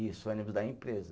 Isso, o ônibus da empresa.